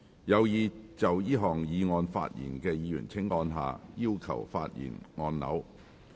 有意就這項議案發言的議員請按下"要求發言"按鈕。